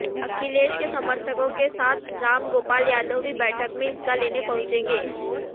अखिलेश के समर्थकों के साथ रामगोपाल यादव भी बैठक में हिस्सा लेने पहुंचेगें